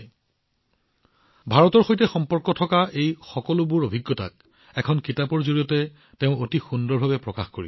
এতিয়া তেওঁ ভাৰতৰ সৈতে সম্পৰ্কিত এই সকলোবোৰ অভিজ্ঞতা এখন কিতাপত অতি সুন্দৰভাৱে একত্ৰিত কৰিছে